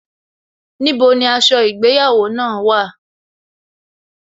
Níbo ni aṣọ ìgbéyàwó náà wà?